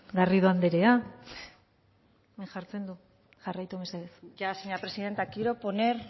garrido anderea hemen jartzen du jarraitu mesedez ya señora presidenta quiero poner